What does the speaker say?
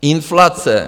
Inflace?